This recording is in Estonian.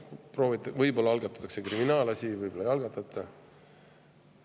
Võib-olla algatatakse kriminaalasi, võib-olla ei algatata.